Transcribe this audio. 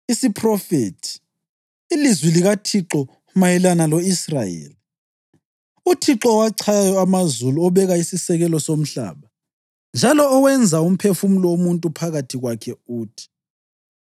Isiphrofethi: ilizwi likaThixo mayelana lo-Israyeli. UThixo owachayayo amazulu, obeka isisekelo somhlaba, njalo owenza umphefumulo womuntu phakathi kwakhe, uthi: